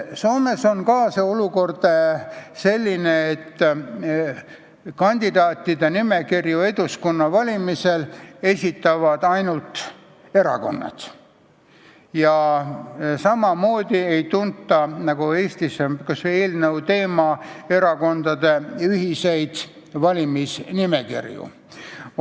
Soomes on olukord selline, et kandidaatide nimekirju Eduskunna valimisele esitavad ainult erakonnad ja samamoodi nagu Eestis ei tunta erakondade ühiseid valimisnimekirju.